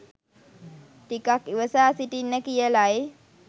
ටිකක් ඉවසා සිටින්න කියලයි